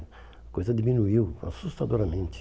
A coisa diminuiu assustadoramente.